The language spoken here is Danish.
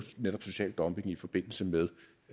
netop social dumping i forbindelse med